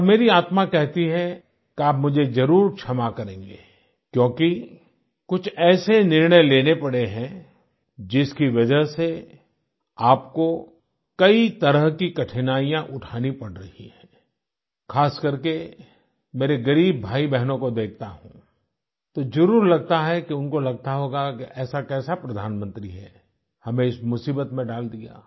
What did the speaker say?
और मेरी आत्मा कहती है कि आप मुझे जरुर क्षमा करेंगें क्योंकि कुछ ऐसे निर्णय लेने पड़े हैं जिसकी वजह से आपको कई तरह की कठिनाइयाँ उठानी पड़ रही हैं खास करके मेरे गरीब भाईबहनों को देखता हूँ तो जरुर लगता है कि उनको लगता होगा की ऐसा कैसा प्रधानमंत्री है हमें इस मुसीबत में डाल दिया